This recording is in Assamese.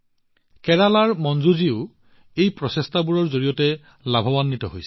কেৰালাৰ মঞ্জুজীয়েও এই প্ৰচেষ্টাবোৰৰ পৰা যথেষ্ট লাভান্বিত হৈছে